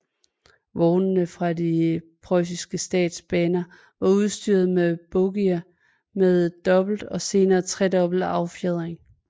Vognene fra de preussiske statsbaner var udstyret med bogier med dobbelt og senere tredobbelt affjedring